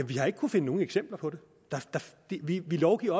vi har ikke kunnet finde nogen eksempler på det vi lovgiver